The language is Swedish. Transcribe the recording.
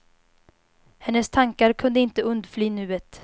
Hennes tankar kunde inte undfly nuet.